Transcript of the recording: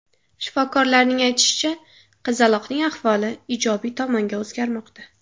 Shifokorlarning aytishicha, qizaloqning ahvoli ijobiy tomonga o‘zgarmoqda.